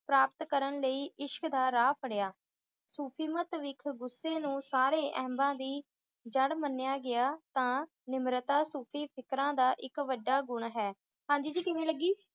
ਪ੍ਰਾਪਤ ਕਰਨ ਲਈ ਇਸ਼ਕ ਦਾ ਰਾਹ ਫੜਿਆ। ਸੂਫ਼ੀਮਤ ਵਿਖ ਗੁੱਸੇ ਨੂੰ ਸਾਰੇ ਐਬਾਂ ਦੀ ਜੜ ਮੰਨਿਆਂ ਗਿਆ ਤਾਂ ਨਿਮਰਤਾ ਸੂਫ਼ੀ ਫਕੀਰਾਂ ਦਾ ਇੱਕ ਵੱਡਾ ਗੁਣ ਹੈ। ਹਾਂਜੀ ਜੀ ਕਿਵੇਂ ਲੱਗੀ,